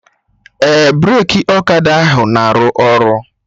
Ee, breki ọkada ahụ na-aru ọrụ